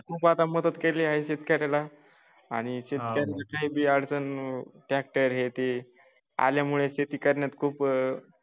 खूप आता मदत केलेले आहे जितक्या त्याला आणि जितक्या काही अडचण ट्रॅक्टर हे ते आल्यामुळे शेती करण्यात खूप अह